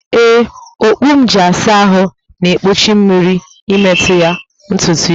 Ee, okpu m ji asa ahụ na-egbochi mmiri ịmetụ na ntutu isi